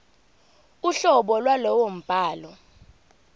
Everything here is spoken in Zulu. uhlobo lwalowo mbhalo